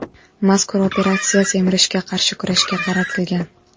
Mazkur operatsiya semirishga qarshi kurashga qaratilgan.